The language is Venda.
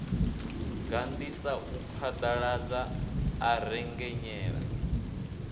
gandisa a phaḓaladza a rengenyela